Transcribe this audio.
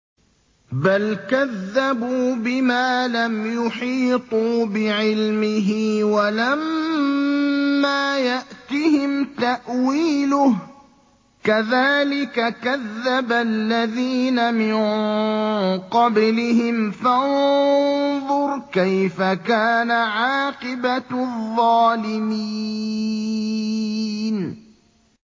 بَلْ كَذَّبُوا بِمَا لَمْ يُحِيطُوا بِعِلْمِهِ وَلَمَّا يَأْتِهِمْ تَأْوِيلُهُ ۚ كَذَٰلِكَ كَذَّبَ الَّذِينَ مِن قَبْلِهِمْ ۖ فَانظُرْ كَيْفَ كَانَ عَاقِبَةُ الظَّالِمِينَ